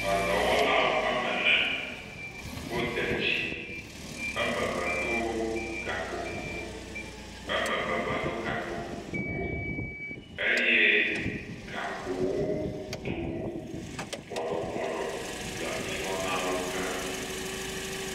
Eɖɔwɔwo wɔame ene, wode dzi, wo ame eve ɖo gakpo kuku, eme ve me ɖo gakpo kuku o eye gakpo wo do go bɔɖɔbɔɖɔ le ŋgɔ na wo keŋ